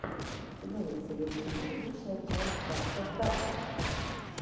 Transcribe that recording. имеется ли у тебя лучшая часть дабстеп гаттер